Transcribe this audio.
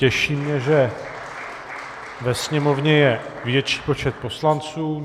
Těší mě, že ve Sněmovně je větší počet poslanců.